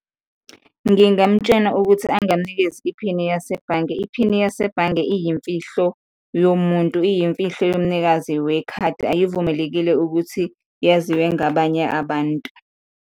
Ngingamtshena ukuthi angamnikezi iphini yasebhange, iphini yasebhange iyimfihlo yomuntu, iyimfihlo yomnikazi wekhadi, ayivumelekile ukuthi yaziwe ngabanye abantu.